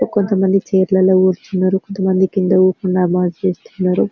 కొంత మంది చైర్ లలో కూర్చున్నారు కొంత మంది కింద కూర్చోని చేస్తున్నారు.